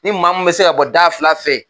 Ni maa mun bɛ se ka bɔ da fila fɛ